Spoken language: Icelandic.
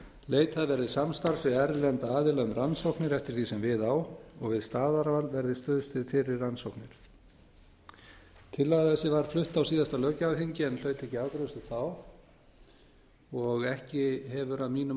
leitað verði samstarfs við erlenda aðila um rannsóknir eftir því sem við á og við staðarval verði stuðst við fyrri rannsóknir tillaga þessi var flutt á síðasta löggjafarþingi en hlaut ekki afgreiðslu þá og ekki hefur að mínu